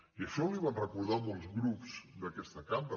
i això li ho van recordar molts grups d’aquesta cambra